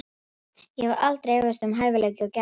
Ég hef aldrei efast um hæfileika og gæði hans.